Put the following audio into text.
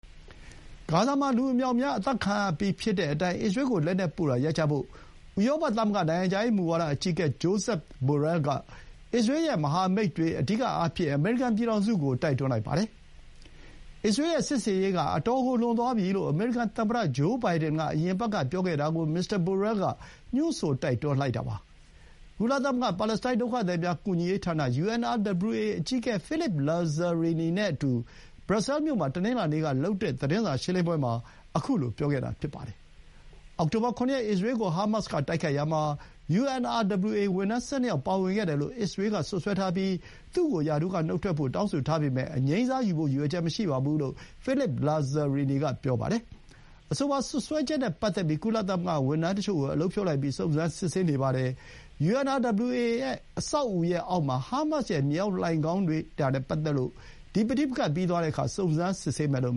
ဂါဇာမှာ လူအမြောက်အများအသတ်ခံနေရချိန်မှာ အစ္စရေးကို လက်နက်ပို့တာရပ်ကြဖို့ ဥရောသမဂ္ဂနိုင်ငံခြားရေး မူဝါဒအကြီးအကဲ Josep Borrell က အစ္စရေးရဲ့မဟာမိတ်တွေ အဓိကအားဖြင့် အမေရိကန်ပြည်ထောင်စုကို တိုက်တွန်းလိုက်ပါတယ်။ အစ္စရေးရဲ့စစ်ဆင်ရေးက အတော်ကိုလွန်သွားပြီလို့ အမေရိကန်သမ္မတဂျိုးဘိုင်ဒန်က အရင်အပတ်ကပြောခဲ့တာကို မစ္စတာဘိုရဲလ်က ညွှန်းဆိုတိုက်တွန်းလိုက်တာပါ။ ကုလသမဂ္ဂ ပါလက်စတိုင်းဒုက္ခသည်များ ကူညီရေးဌာန UNRWA အကြီးအကဲ ဖိလစ်ပ် လာဇာရီနီ (Philippe Lazzarini) နဲ့အတူ ဘရပ်ဆဲမြို့မှာ တနင်္လာနေ့က သတင်းစာရှင်းလင်းပွဲအတွင်း ခုလို ပြောခဲ့တာဖြစ်ပါတယ်။ အောက်ဆိုဘာ ၇ ရက် အစ္စရေးကို ဟာမတ်စ်က တိုက်ခိုက်ရာမှာ UNRWA ဝန်ထမ်း ၁၂ ယောက်ပါဝင်ခဲ့တယ်လို့ အစ္စရေးက စွပ်စွဲထားပြီး သူ့ကို ရာထူးကနုတ်ထွက်ဖို့ တောင်းဆိုထားပေမဲ့ အငြိမ်းစားယူဖို့ ရည်ရွယ်ချက်မရှိဘူးလို့ ဖိလစ်ပ် လာဇာရီနီ က ပြောပါတယ်။ အဆိုပါစွပ်စွဲချက်နဲ့ပတ်သက်လို့ ကုလသမဂ္ဂဝန်ထမ်းတချို့ကို အလုပ်ဖြုတ်လိုက်ပြီး စုံစမ်းစစ်ဆေးနေပါတယ်။ UNRWA အဆောက်အဦရဲ့အောက်မှာ ဟာမတ်စ်ရဲ့ မြေအောက်လှိုဏ်ခေါင်းတွေ့တာနဲ့ပတ်သက်လို့ ဒီ ပဋိပက္ခပြီးသွားတဲ့အခါ စုံစမ်းစစ်ဆေးမယ်လို့